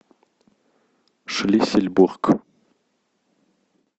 шлиссельбург